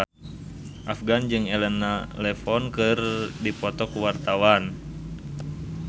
Afgan jeung Elena Levon keur dipoto ku wartawan